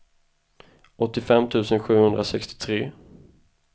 åttiofem tusen sjuhundrasextiotre